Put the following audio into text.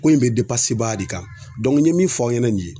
Ko in bɛ de kan n ye min fɔ aw ɲɛna nin ye